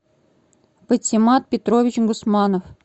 патимат петрович гусманов